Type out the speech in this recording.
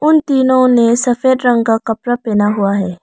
उन तीनों ने सफेद रंग का कपड़ा पहना हुआ है।